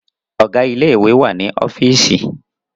Ọ̀gá ilé ìwé wà ní ọ́fììsì.